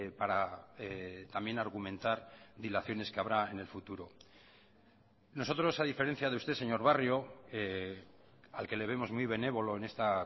para también argumentar dilaciones que habrá en el futuro nosotros a diferencia de usted señor barrio al que le vemos muy benévolo en esta